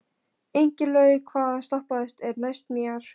Ingilaug, hvaða stoppistöð er næst mér?